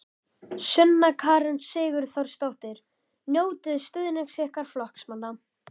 Sunna Karen Sigurþórsdóttir: Njótiði stuðnings ykkar flokksmanna?